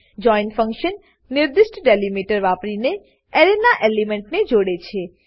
join function નિર્દિષ્ટ delimiter વાપરીને એરેના એલિમેન્ટને જોડે છે